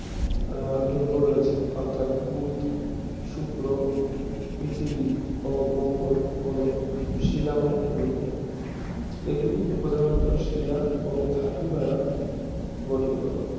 উহ গ্রহ রয়েছে অর্থাৎ বুধ শুক্র পৃথিবী ও মঙ্গল হল শিলাময় গ্রহ এগুলি প্রধানত শিলা ও ধাতু দ্বারা গঠিত